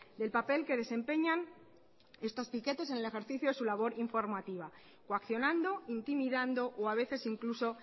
del papel que desempeñan estos piquetes en el ejercicio de su labor informativa coaccionando intimidando o a veces incluso